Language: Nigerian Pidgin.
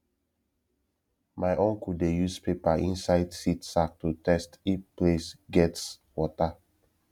my uncle dey use paper inside seed sack to test if place gets water